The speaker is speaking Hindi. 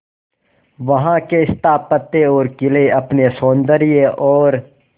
वहां के स्थापत्य और किले अपने सौंदर्य और